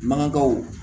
Mangebaw